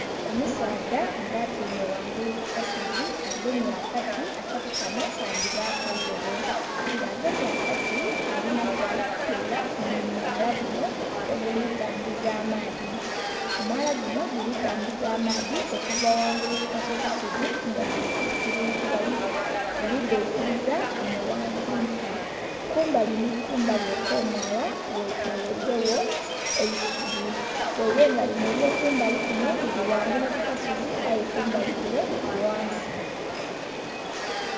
Omusaadha nga atyaime ghangulu ku kasozi agemye akati akati kanho kandhibaku eirobo nga agemye akati alina kyali kutola mu mwaala gunho oguli tambula amaadhi. Omwaala gunho guli tambula amaadhi okuva ghangulu ku kasozi sozi nga guli gaikiliza enho ghansi nsi kumbali nhi kumbali okwo mwaala ghe tolweile gho eisubi ghaile nga linho elyo kumbali lili ghangulu ku kasozi aye kumbali kule lili ghansi.